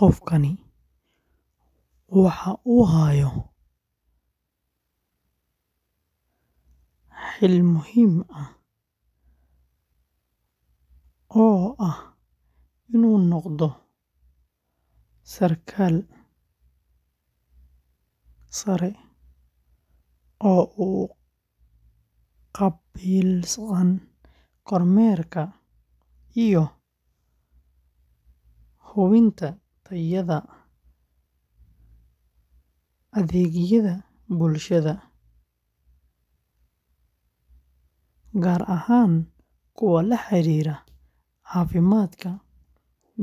Qofkani waxa uu hayaa xil muhiim ah oo ah inuu noqdo sarkaal sare oo u qaabilsan kormeerka iyo hubinta tayada adeegyada bulshada, gaar ahaan kuwa la xiriira caafimaadka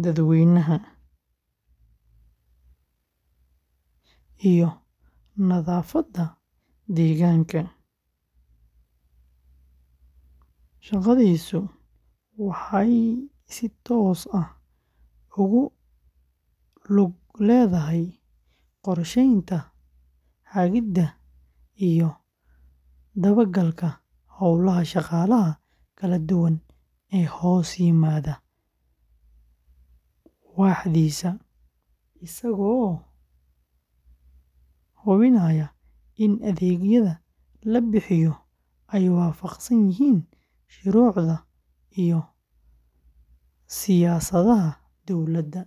dadweynaha iyo nadaafadda deegaanka. Shaqadiisu waxay si toos ah ugu lug leedahay qorsheynta, hagidda, iyo dabagalka hawlaha shaqaalaha kala duwan ee hoos yimaada waaxdiisa, isagoo hubinaya in adeegyada la bixiyo ay waafaqsan yihiin shuruucda iyo siyaasadaha dowladda.